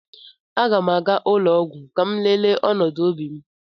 Aga m aga ụlọ ọgwụ ka m lelee ọnọdụ obi m